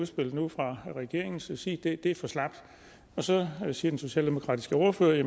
spillet ud fra regeringens side er for slapt og så siger den socialdemokratiske ordfører at